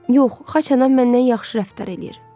Yox, Xaçanam məndən yaxşı rəftar eləyir.